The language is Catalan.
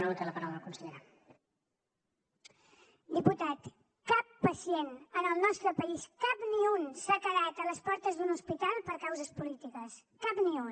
diputat cap pacient en el nostre país cap ni un s’ha quedat a les portes d’un hospital per causes polítiques cap ni un